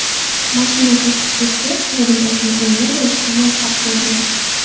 Mashina turtib ketgach, xodim o‘zini o‘nglab olishga muvaffaq bo‘lgan.